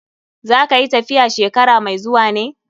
Za ka yi tafiya shekara mai zuwa ne?